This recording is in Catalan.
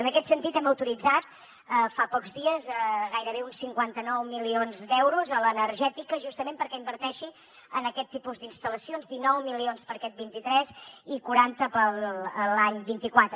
en aquest sentit hem autoritzat fa pocs dies gairebé uns cinquanta nou milions d’euros a l’energètica justament perquè inverteixi en aquest tipus d’instal·lacions dinou milions per a aquest vint tres i quaranta per a l’any vint quatre